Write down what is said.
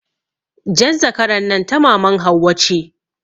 Jan zakaran nan ta maman Hauwa ce.